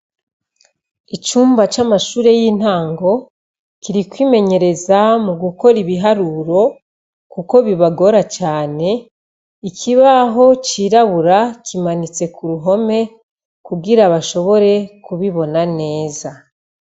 Icumba c'amashure y'intango, kiri kwimenyereza mu gukora ibiharuro, kuko bibagora cane, ikibaho cirabura kimanitse ku ruhome kugira bashobore kubibona neza.